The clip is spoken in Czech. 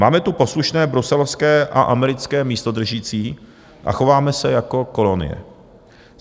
Máme tu poslušné bruselské a americké místodržící a chováme se jako kolonie.